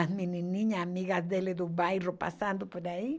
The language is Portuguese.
As menininhas amigas dele do bairro passando por aí.